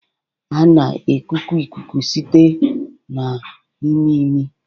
A na-ekuku ikuku site na imi imi